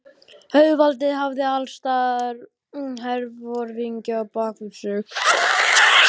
Auðvaldið hafði allsstaðar herforingja á bak við sig.